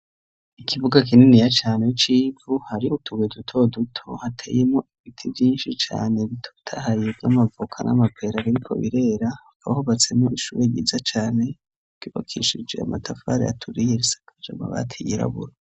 Ikibuga kininiya cane ho c'ivu hari utubeye duto duto hateyemo ibiti vyinshi cane bitotahaye vy'amavoka n'amapera biriko birera bahubatsemwo ishure ryiza cane kwibakishije amatafari aturiye risakaje amabati yirabura.